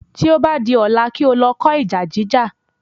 Tí o bá di ọ̀la, kí o lọ kó ìjà jíjà